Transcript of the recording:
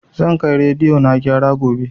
Zan kai rediyo na gyara gobe